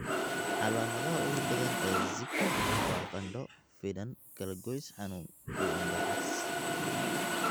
Calaamadaha ugu badan ee Zika waa qandho, finan, kalagoys xanuun, iyo indho-cas (indho cas).